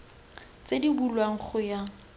tse di bulwang go ya